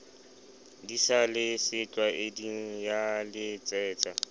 di sa le setlwaeding yaletsetsa